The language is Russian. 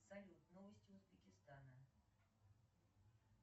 салют новости узбекистана